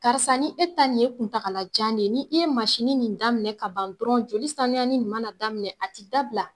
Karisa ni e ta nin ye kuntagala jan de ye, ni e ye nin daminɛ ka ban dɔrɔn joli saniyani nin ma na daminɛ a ti dabila.